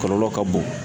Kɔlɔlɔ ka bon